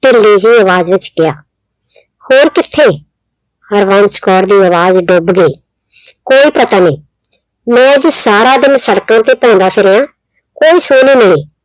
ਢਿੱਲੀ ਹੀ ਆਵਾਜ਼ ਵਿੱਚ ਕਿਹਾ। ਹੋਰ ਕਿੱਥੇ ਹਰਬੰਸ ਕੌਰ ਦੀ ਆਵਾਜ਼ ਦੱਬ ਗਈ। ਕੋਈ ਪਤਾ ਨਹੀਂ ਮੈਂ ਅੱਜ ਸਾਰਾ ਦਿਨ ਸੜਕਾਂ ਤੇ ਘੁੰਮਦਾ ਫਿਰਿਆ, ਕੋਈ ਸੁੱਗ ਨਹੀਂ